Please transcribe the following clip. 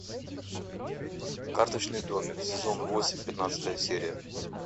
карточный домик сезон восемь пятнадцатая серия